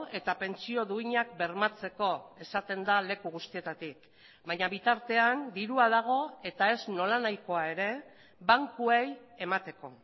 eta pentsio duinak bermatzeko esaten da leku guztietatik baina bitartean dirua dago eta ez nolanahikoa ere bankuei emateko